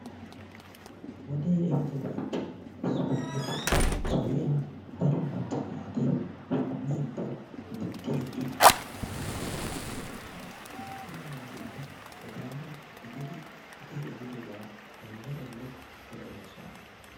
Wodee ehiiddobaappe issuwa gidida suriya daro macca naati shamiidi, gixxiidi, issippe de'oosona. Attuma naatikka etaara gididi wodee ehiiddobaa elle ele be'oosona.